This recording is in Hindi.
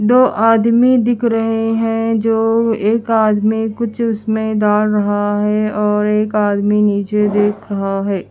दो आदमी दिख रहे हैं जो एक आदमी कुछ उसमें डाल रहा है और एक आदमी नीचे देख रहा है।